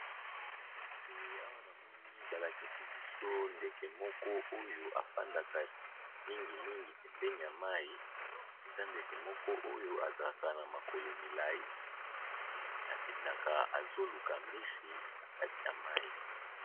Eee awa namoni balakisibiso ndeke moko oyo afandaka mingi mingi pembeni yamayi ezandeke moko oyo azalaka na makolo milayi eee akendaka azoluka mbisi nakati yamayi